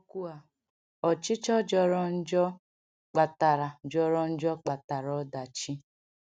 N’okwu a, ọchịchọ jọrọ njọ kpatara jọrọ njọ kpatara ọdachi.